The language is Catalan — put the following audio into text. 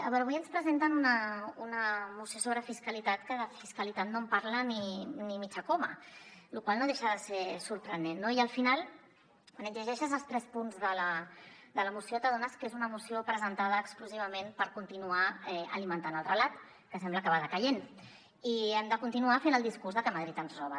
avui ens presenten una moció sobre fiscalitat que de fiscalitat no en parla ni mitja coma la qual cosa no deixa de ser sorprenent no i al final quan et llegeixes els tres punts de la moció t’adones que és una moció presentada exclusivament per continuar alimentant el relat que sembla que va decaient i hem de continuar fent el discurs de que madrid ens roba